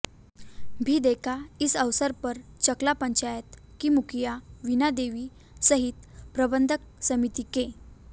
भी देखा इस अवसर पर चकला पंचायत की मुखिया वीणा देवी सहित प्रबंधक समिति के